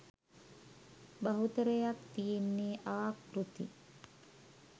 බහුතරයක් තියෙන්නේ ආකෘති.